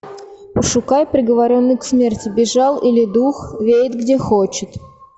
пошукай приговоренный к смерти бежал или дух веет где хочет